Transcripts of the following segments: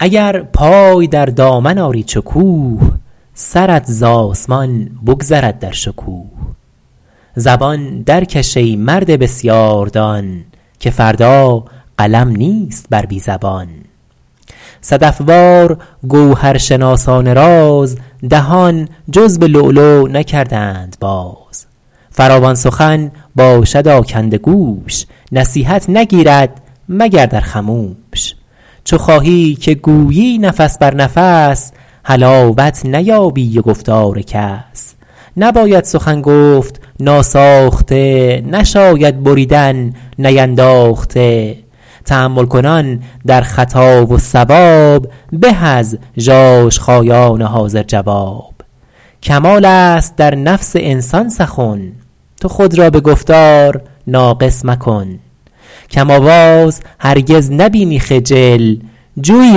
اگر پای در دامن آری چو کوه سرت ز آسمان بگذرد در شکوه زبان درکش ای مرد بسیار دان که فردا قلم نیست بر بی زبان صدف وار گوهرشناسان راز دهان جز به لؤلؤ نکردند باز فراوان سخن باشد آکنده گوش نصیحت نگیرد مگر در خموش چو خواهی که گویی نفس بر نفس حلاوت نیابی ز گفتار کس نباید سخن گفت ناساخته نشاید بریدن نینداخته تأمل کنان در خطا و صواب به از ژاژخایان حاضر جواب کمال است در نفس انسان سخن تو خود را به گفتار ناقص مکن کم آواز هرگز نبینی خجل جوی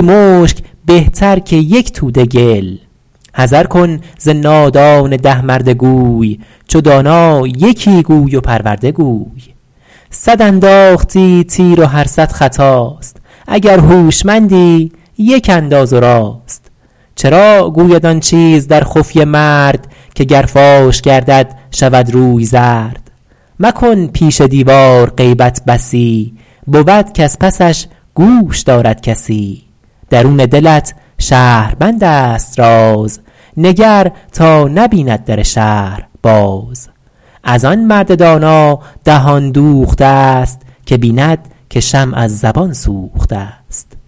مشک بهتر که یک توده گل حذر کن ز نادان ده مرده گوی چو دانا یکی گوی و پرورده گوی صد انداختی تیر و هر صد خطاست اگر هوشمندی یک انداز و راست چرا گوید آن چیز در خفیه مرد که گر فاش گردد شود روی زرد مکن پیش دیوار غیبت بسی بود کز پسش گوش دارد کسی درون دلت شهربند است راز نگر تا نبیند در شهر باز از آن مرد دانا دهان دوخته است که بیند که شمع از زبان سوخته است